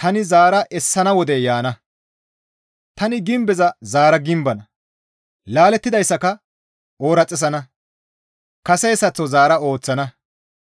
tani zaara essana wodey yaana; tani gimbeza zaara gimbana; laalettidayssaka ooraxissana; kaseyssaththo zaara ooththana.